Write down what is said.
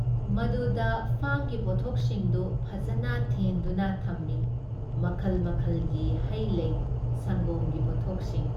ꯃꯗꯨꯗ ꯐꯥꯝꯒꯤ ꯄꯣꯠꯊꯣꯛꯁꯤꯡꯗꯨ ꯐꯖꯅ ꯊꯦꯟꯗꯨꯅ ꯊꯝꯃꯤ ꯃꯈꯜ ꯃꯈꯜꯒꯤ ꯍꯩ ꯂꯩ, ꯁꯪꯒꯣꯝꯒꯤ ꯄꯣꯠꯊꯣꯛꯁꯤꯡ ꯫